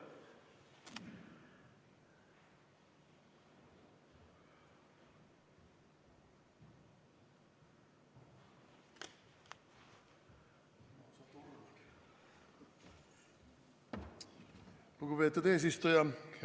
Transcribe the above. Lugupeetud eesistuja!